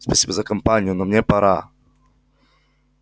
спасибо за компанию но мне пора